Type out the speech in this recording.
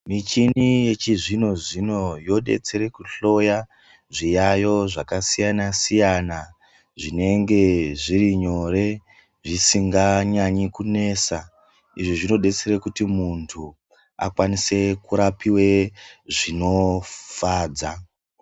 Michini yechizvinozvino yobetsere kuhloya zviyayo zvakasiyanasiyana zvinenge zvirinyore zvisikanyanyi kunetsa izvi zvinobetsere kuti muntu akwanise kurapiwe zvinofadza .